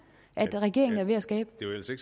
regeringen er ved at skabe